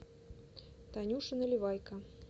танюше наливайко